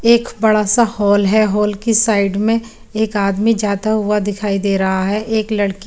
एक बड़ा सा हॉल है हॉल की साइड में एक आदमी जाता हुआ दिखाई दे रहा है।